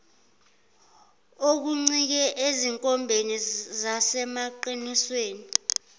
okuncike ezinkombeni nasemaqinisweni